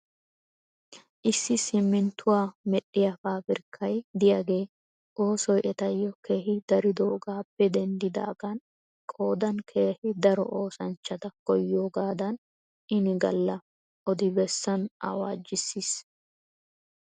Issi simminttuwaa medhdhiyaa paabirkkay diyaagee oosoy etayyo keehi daroogaappe denddidaagan qoodan keehi daro oosanchchata koyiyoogaadan inigalla adi bessan awaajjissis .